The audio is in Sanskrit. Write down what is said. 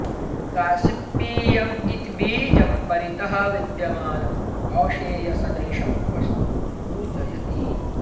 गास्सिप्पियं इति बीजं परितः विद्यमानं कौशेयसदृशं वस्तुं सूचयति